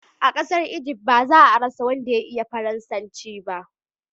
a kasar Ijift ba za a rasa wanda ya iya faransanci ba